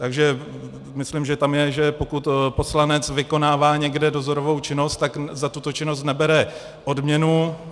Takže myslím, že tam je, že pokud poslanec vykonává někde dozorovou činnost, tak za tuto činnost nebere odměnu.